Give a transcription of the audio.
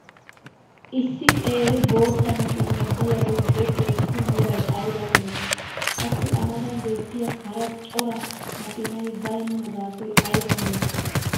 issi qeeri bootta makkiinay diyaagee beetiyaassi meray aybaa malattii? qassi a matan beettiya hara cora makkiinay baynna gaasoy ayba malattii?